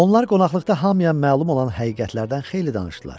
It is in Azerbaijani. Onlar qonaqlıqda hamıya məlum olan həqiqətlərdən xeyli danışdılar.